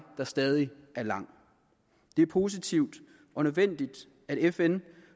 der stadig er lang det er positivt og nødvendigt at fn